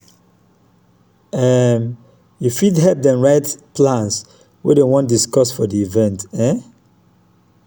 um yu fit help dem write plans wey dem wan discuss for di event um